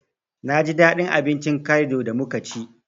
Naji daɗin abincin kalido da muka ci